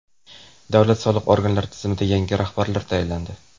Davlat soliq organlari tizimida yangi rahbarlar tayinlandi.